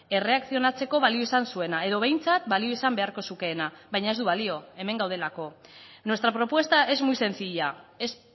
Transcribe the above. erreakzionatzeko balio izan zuena edo behintzat balio izan beharko zukeena baina ez du balio hemen gaudelako nuestra propuesta es muy sencilla es